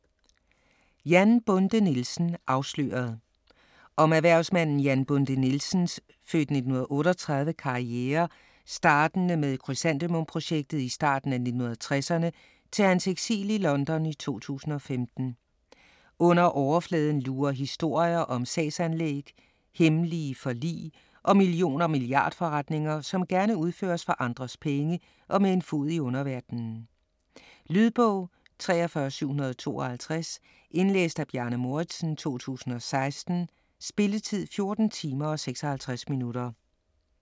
Jan Bonde Nielsen - afsløret Om erhvervsmanden Jan Bonde Nielsens (f. 1938) karriere startende med krysantemum-projektet i starten af 1960'erne til hans eksil i London i 2015. Under overfladen lurer historier om sagsanlæg, hemmelige forlig og million- og milliardforretninger, som gerne udføres for andres penge og med en fod i en underverden. Lydbog 43752 Indlæst af Bjarne Mouridsen, 2016. Spilletid: 14 timer, 56 minutter.